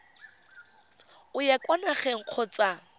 o ya kwa nageng kgotsa